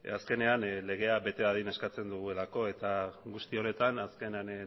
azkenean legea bete dadin eskatzen dugulako eta guzti honetan azkenean